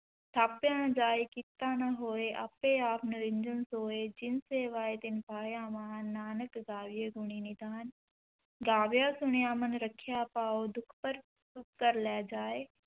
ਥਾਪਿਆ ਨ ਜਾਇ ਕੀਤਾ ਨ ਹੋਇ, ਆਪੇ ਆਪਿ ਨਿਰੰਜਨੁ ਸੋਇ, ਜਿਨਿ ਸੇਵਿਆ ਤਿਨਿ ਪਾਇਆ ਮਾਨੁ, ਨਾਨਕ ਗਾਵੀਐ ਗੁਣੀ ਨਿਧਾਨੁ, ਗਾਵੀਐ ਸੁਣੀਐ ਮਨਿ ਰਖੀਐ ਭਾਉ, ਦੁਖੁ ਪਰ ਸੁਖੁ ਘਰਿ ਲੈ ਜਾਇ,